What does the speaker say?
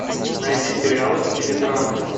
найди сериалы в стиле драмы